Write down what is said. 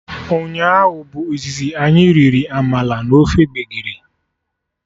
Ụnyaahụ bụ izizi anyị riri amala na ofe gbegiri